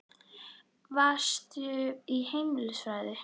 Varstu í heimilisfræði?